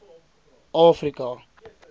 afrika